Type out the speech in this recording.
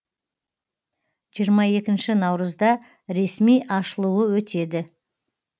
жиырма екінші наурызда ресми ашылуы өтеді